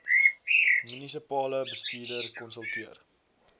munisipale bestuurder konsulteer